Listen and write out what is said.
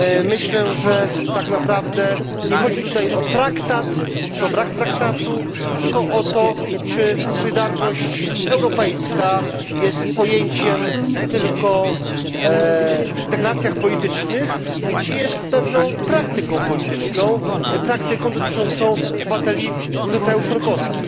Myślę, że tak naprawdę nie chodzi tutaj o traktat czy o brak traktatu, lecz o to, czy solidarność europejska jest pojęciem używanym tylko w deklaracjach politycznych, czy jest pewną praktyką polityczną, praktyką dotyczącą obywateli różnych krajów członkowskich.